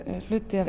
hluti af